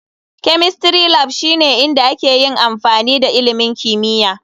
Chemistry Lab shine inda ake yin amfani da ilimin kimiyya.